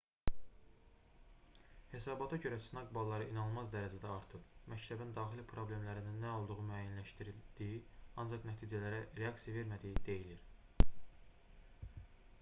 hesabata görə sınaq balları inanılmaz dərəcədə artıb məktəbin daxili problemlərin nə olduğunu müəyyənləşdirdiyi ancaq nəticələrə reaksiya vermədiyi deyilir